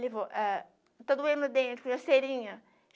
Levou eh está doendo o dente punha uma cerinha